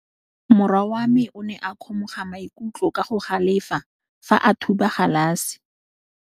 Morwa wa me o ne a kgomoga maikutlo ka go galefa fa a thuba galase.